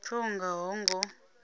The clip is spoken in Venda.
pfe u nga ho ngo